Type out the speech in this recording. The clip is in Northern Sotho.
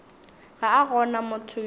ga a gona motho yo